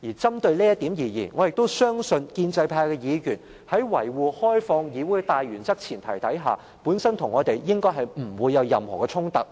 針對這點而言，我亦相信建制派議員在維護開放議會的大原則和前提下，與我們不會有任何衝突。